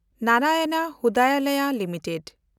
ᱱᱮᱱᱰᱟᱭᱚᱱ ᱦᱨᱩᱫᱨᱟᱞᱚᱭ ᱞᱤᱢᱤᱴᱮᱰ